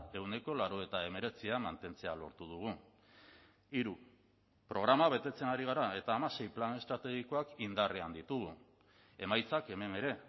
ehuneko laurogeita hemeretzia mantentzea lortu dugu hiru programa betetzen ari gara eta hamasei plan estrategikoak indarrean ditugu emaitzak hemen ere